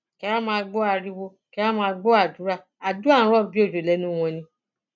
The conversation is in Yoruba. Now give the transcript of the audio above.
kẹ ẹ wàá máa gbọ ariwo kẹẹ wàá máa gbọ àdúrà àdúà ń rò bíi òjò lẹnu wọn ni